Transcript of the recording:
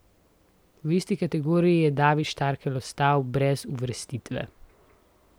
V isti kategoriji je David Štarkel ostal brez uvrstitve.